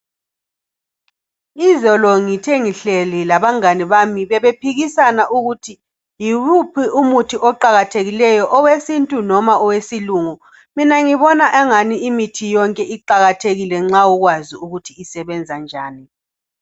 izolo ngithe ngihleli labangani bami bebephikisana ukuthi yiwuphi umuthi oqakathekileyo owesintu noma owesilungu mina ngibona engani yonke imithi iqakathekile nxa ukwazi ukuthi isebenza njani